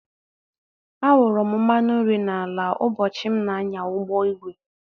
A awuru m mmanụ nri n'ala ugbochi m na-anya ụgbọ igwe